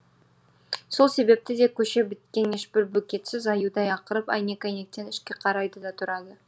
сол себепті де көше біткен ешбір бөгетсіз аюдай ақырып әйнек әйнектен ішке қарайды да тұрады